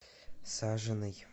сажиной